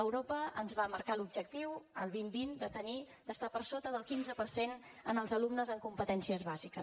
europa ens va marcar l’objectiu el dos mil vint de tenir d’estar per sota del quinze per cent en els alumnes en competències bàsiques